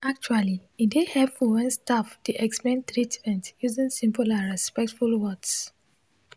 actually e dey hepful wen staf dey explain treatment using simple and respectful words.